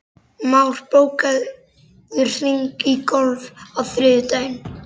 Már, bókaðu hring í golf á þriðjudaginn.